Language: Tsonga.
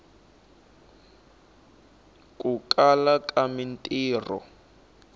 ku kala ka mintiho